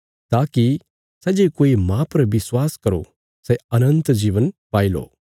ताकि सै जे कोई माह पर विश्वास करो सै अनन्त जीवन पाओ